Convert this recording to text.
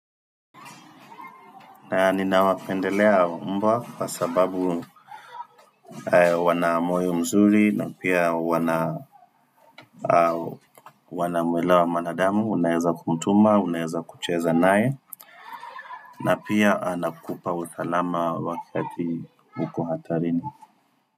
Ninawapendelea mbwa kwa sababu wana moyo mzuri na pia wanamuelewa mwanadamu, unaeza kumtuma, unaeza kucheza naye, na pia anakupa usalama wakati uko hatarini.